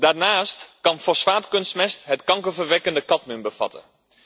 Daarnaast kan fosfaatkunstmest het kankerverwekkende cadmium bevatten.